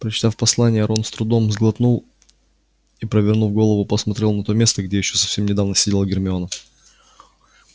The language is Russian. прочитав послание рон с трудом сглотнул и повернув голову посмотрел на то место где ещё совсем недавно сидела гермиона